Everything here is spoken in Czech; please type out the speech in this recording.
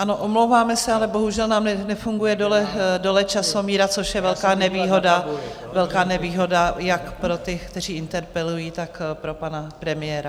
Ano, omlouváme se, ale bohužel nám nefunguje dole časomíra, což je velká nevýhoda jak pro ty, kteří interpelují, tak pro pana premiéra.